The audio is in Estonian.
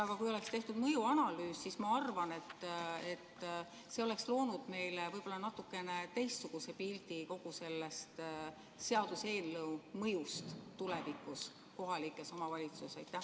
Aga kui oleks tehtud mõjuanalüüs, siis ma arvan, et see oleks loonud meile võib-olla natukene teistsuguse pildi kogu sellest seaduseelnõu mõjust tulevikus kohalikes omavalitsustes.